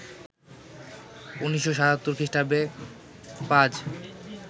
১৯৭৭ খ্রিস্টাব্দে পাজ